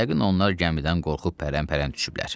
Yəqin onlar gəmidən qorxub pərən-pərən düşüblər.